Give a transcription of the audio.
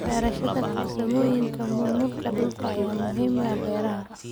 Barashada farsamooyinka maamulka dhulka ayaa muhiim u ah beeraha.